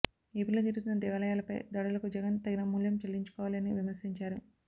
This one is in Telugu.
ఏపీ లో జరుగుతున్న దేవాలయాలపై దాడులకు జగన్ తగిన మూల్యం చెల్లించుకోవాలి అని విమర్శించారు